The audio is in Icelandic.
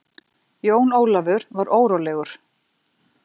Jón Ólafur var órólegur.